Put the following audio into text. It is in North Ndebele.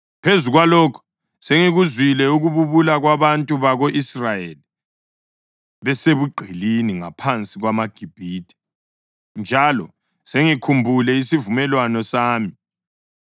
Phezu kwalokho, sengikuzwile ukububula kwabantu bako-Israyeli besebugqilini ngaphansi kwamaGibhithe, njalo sengikhumbule isivumelwano sami.